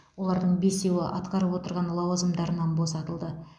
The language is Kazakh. олардың бесеуі атқарып отырған лауазымдарынан босатылды